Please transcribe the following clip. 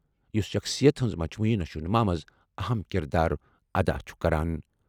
یُس شخصیت ہنٛز مجموعی نشوونما منٛز اہم کردار ادا چُھ کران۔